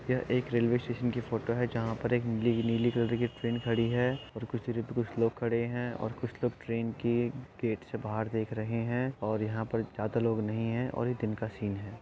एक railway station की photo है जहां प एक नीली -- नीली कलर की ट्रैन खड़ी है और कुछ लोग खड़े हैं और कुछ लोग ट्रेन के गेट से बाहर देख रहे हैं और यहाँ पर ज्यादा लोग नहीं है और ये दिन का सीन है।